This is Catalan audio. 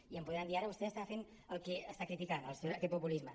i em podran dir ara vostè està fent el que està criticant aquest populisme